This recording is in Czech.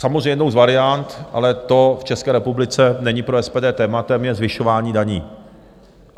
Samozřejmě jednou z variant, ale to v České republice není pro SPD tématem, je zvyšování daní.